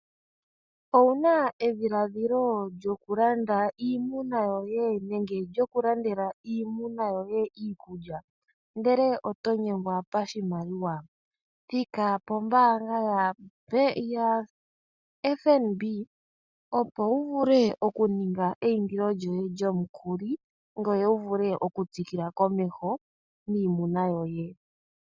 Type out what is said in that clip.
Owuna edhiladhilo lyokulanda iimuna yoye nenge lyokulandela iimuna yoye iikulya ndele otonyengwa pashimaliwa, thika pombanga yoFnb opo wuvule okuninga eyindilo lyoye lyomukuli ngoye wuvule okutsikila komesho niimuna yoye.